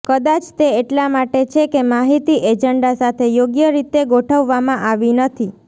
કદાચ તે એટલા માટે છે કે માહિતી એજન્ડા સાથે યોગ્ય રીતે ગોઠવવામાં આવી નથી